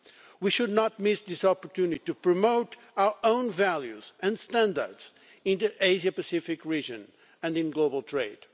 We should not miss this opportunity to promote our own values and standards in the Asia-Pacific region and in global trade.